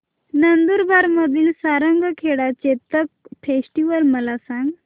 नंदुरबार मधील सारंगखेडा चेतक फेस्टीवल मला सांग